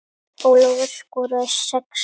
Ólafur skoraði sex mörk.